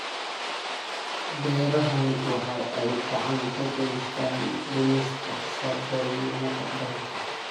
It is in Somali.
Beerahani waxa ay gacan ka geystaan ??dhimista saboolnimada dalka.